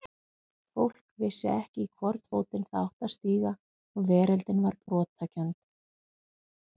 Fólk vissi ekki í hvorn fótinn það átti að stíga og veröldin var brotakennd.